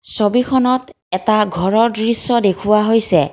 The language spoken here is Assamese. ছবিখনত এটা ঘৰৰ দৃশ্য দেখুওৱা হৈছে।